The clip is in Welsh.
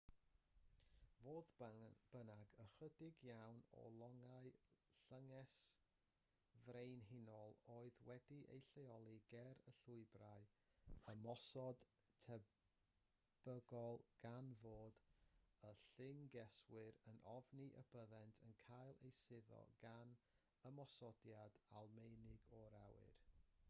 fodd bynnag ychydig iawn o longau'r llynges frenhinol oedd wedi'u lleoli ger y llwybrau ymosod tebygol gan fod y llyngeswyr yn ofni y byddent yn cael eu suddo gan ymosodiad almaenig o'r awyr